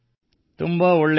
ತುಂಬಾ ಒಳ್ಳೇದು